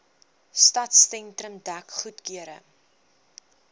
stadsentrum dek goedgekeur